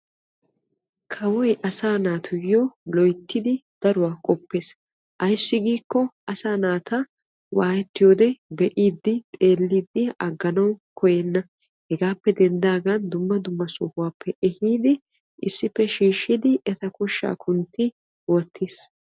Kawpy asaa naatuyyo loyttidi daruwaa qopees ayssi giiko asaa naata waayettiyoode xeelidi be'iidi aganaw kouyenna. Hegappe denddaagan dumma dumma sohuwappe ehiidi issippe shiishshi eta koshsha kuntti wottiis.